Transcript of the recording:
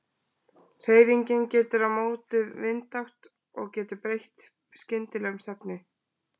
Hreyfingin getur verið á móti vindátt og getur breytt skyndilega um stefnu.